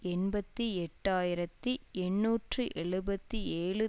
எண்பத்தி எட்டு ஆயிரத்தி எண்ணூற்று எழுபத்தி ஏழு